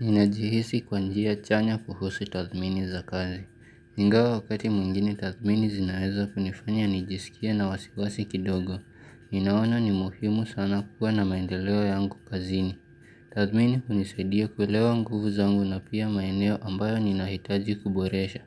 Ninajihisi kwa njia chanya kuhusu tathmini za kazi. Ingawa wakati mwingine tathmini zinaeza kunifanya nijisikie na wasiwasi kidogo. Ninaona ni muhimu sana kuwa na maendeleo yangu kazini. Tathmini unisaidia kuelewa nguvu zangu na pia maeneo ambayo ninahitaji kuboresha.